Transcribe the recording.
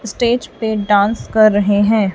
Stage पे dance कर रहे हैं।